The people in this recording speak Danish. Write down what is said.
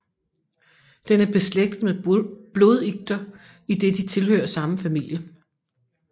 Den er beslægtet med blodikter idet de tilhører samme familie